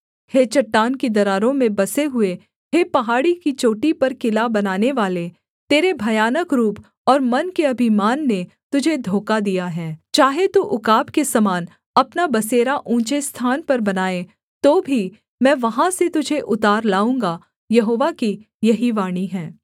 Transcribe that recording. हे चट्टान की दरारों में बसे हुए हे पहाड़ी की चोटी पर किला बनानेवाले तेरे भयानक रूप और मन के अभिमान ने तुझे धोखा दिया है चाहे तू उकाब के समान अपना बसेरा ऊँचे स्थान पर बनाए तो भी मैं वहाँ से तुझे उतार लाऊँगा यहोवा की यही वाणी है